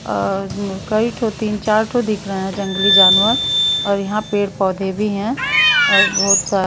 अ कई ठो तीन चार ठो दिख रहे है जंगली जानवर और यहां पेड़ पौधे भी हैं और बहोत सा--